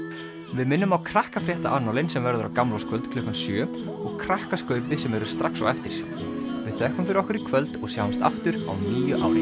við minnum á Krakkafréttaannálinn sem verður á gamlárskvöld klukkan sjö og Krakkaskaupið sem verður strax á eftir við þökkum fyrir okkur í kvöld og sjáumst aftur á nýju